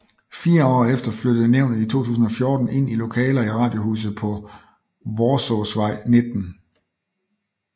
Fire år efter flyttede nævnet i 2014 ind i lokaler i Radiohuset på Worsaaesvej 19